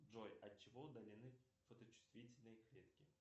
джой отчего удалены фоточувствительные клетки